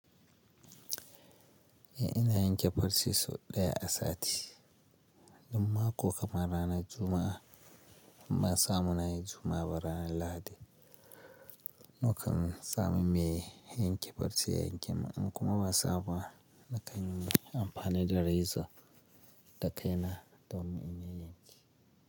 Eh ina yanke farce sau ɗaya a sati, inma ko kamar ranar Juma'a, in ban samuna yi Juma'a ba ranar Lahadi. Nakan sa mu me yanke farce yenke min in kuma ba sa muba na kan yi amfani da reza da kai na domin in yayan ke.